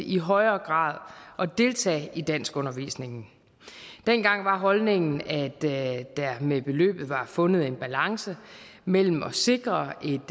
i højere grad at deltage i danskundervisningen dengang var holdningen at der med beløbet var fundet en balance mellem at sikre et